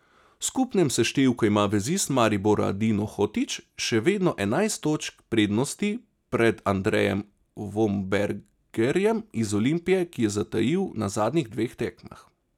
V skupnem seštevku ima vezist Maribora Dino Hotić še vedno enajst točk prednosti pred Andrejem Vombergarjem iz Olimpije, ki je zatajil na zadnjih dveh tekmah.